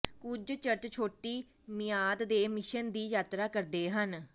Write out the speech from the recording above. ਕੁਝ ਚਰਚ ਛੋਟੀ ਮਿਆਦ ਦੇ ਮਿਸ਼ਨ ਦੀ ਯਾਤਰਾ ਕਰਦੇ ਹਨ